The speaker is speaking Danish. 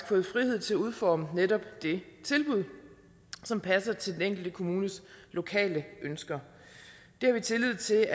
fået frihed til at udforme netop det tilbud som passer til den enkelte kommunes lokale ønsker det har vi tillid til